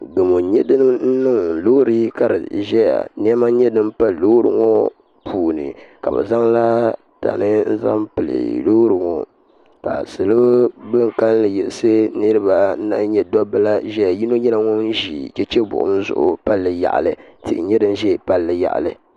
Gamo n nyɛ din niŋ loori ka di ʒɛya niɛma n nyɛ din pali loori ŋɔ puuni ka bi zaŋla tani n zaŋ pili loori ŋɔ ka salo bin kanli yiɣisi niraba anu la nyɛ dabba la ʒɛya yino nyɛla ŋun ʒi chɛchɛ buɣum zuɣu palli yaɣali tihi nyɛ din ʒɛ palli yaɣali